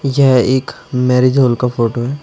यह एक marriage hall का फोटो है।